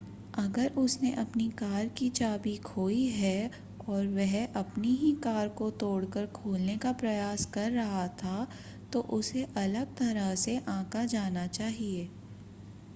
अगर उसने अपनी कार की चाबी खोई है और वह अपनी ही कार को तोड़ कर खोलने का प्रयास कर रहा था तो उसे अलग तरह से आंका जाना चाहिए